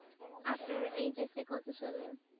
আপনার HSC কত সালে?